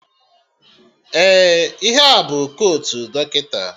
Ee, ihe a bụ kotu dọkịta